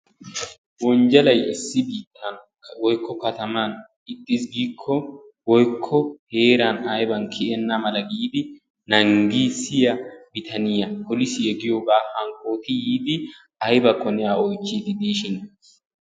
Wonjjalay issi biittaa woykko kataman ixxiis giikko woykko heeran ayban kiyenna mala giidi nanggissiya bitaniya polisiya giyogaa hankkooti yiidi aybakko A oychchiiddi diishin...